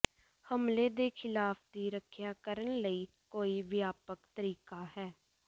ਹਮਲੇ ਦੇ ਖਿਲਾਫ ਦੀ ਰੱਖਿਆ ਕਰਨ ਲਈ ਕੋਈ ਵਿਆਪਕ ਤਰੀਕਾ ਹੈ